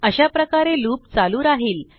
अशाप्रकारे लूप चालू राहिल